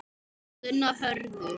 Gunnar Hörður.